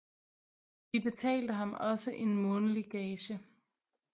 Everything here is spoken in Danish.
De betalte ham også en månedlig gage